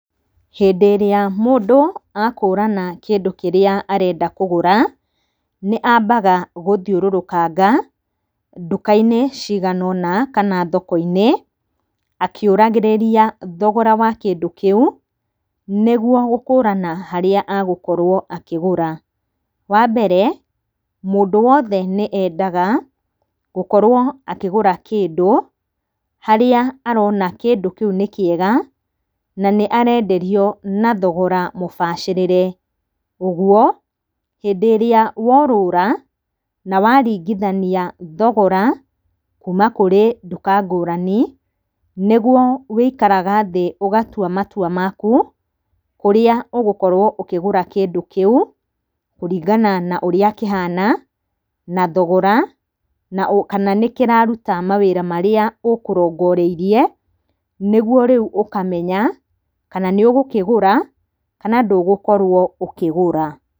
Hĩndĩ ĩrĩa mũndũ akũrana kĩndũ kĩrĩa arenda kũgũra nĩambaga gũthiũrĩrũkanga nduka-inĩ cigana ũna kana thoko-inĩ, akĩũragĩrĩria thogora wa kĩndũ kĩu nĩguo gũkũrana harĩa agũkorwo akĩgũra. Wambere mũndũ wothe nĩendaga gũkorwo akĩgũra kĩndũ harĩa arona kĩndũ kĩu nĩ kĩega na nĩarenderio na thogora mũbacĩrĩre. Ũguo hĩndĩ ĩrĩa worũra na waringithania thogora kuma kũrĩ nduka ngũrani, nĩguo wũikaraga thĩ ũgatua matua maku kũrĩa ũgũkorwo ũkĩgũra kĩndũ kĩu kũringana na ũrĩa kĩhana. na thogora. na kana nĩkĩraruta mawĩra marĩa ũkũrongoreirie. Nĩguo rĩu ũkamenya kana nĩ ũgũkĩgũra kana ndũgũkorwo ũkĩgũra.